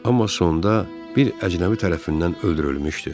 Amma sonda bir əcnəbi tərəfindən öldürülmüşdü.